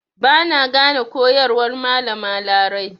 Ba na gane koyarwar Malama Larai.